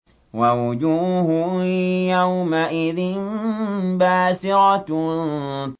وَوُجُوهٌ يَوْمَئِذٍ بَاسِرَةٌ